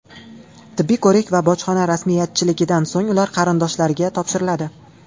Tibbiy ko‘rik va bojxona rasmiyatchiligidan so‘ng ular qarindoshlariga topshiriladi.